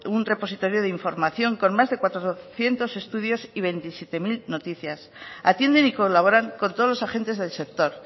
un repositorio de información con más de cuatrocientos estudios y veintisiete mil noticias atienden y colaboran con todos los agentes del sector